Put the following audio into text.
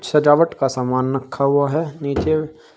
सजावट का सामान रखा हुआ है नीचे--